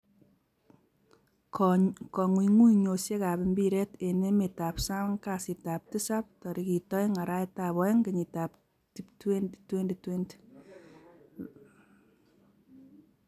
Kong'ung'uyosiekab mpiret en emetab sang kasitab tisap 02/02/2020: Van Dijk, Willian, Ozil, Richarlison, Koulibaly, Maddison